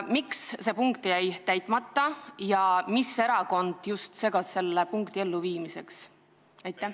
Miks see punkt on täitmata ja mis erakond on takistanud seda ellu viimast?